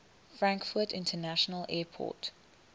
frankfurt international airport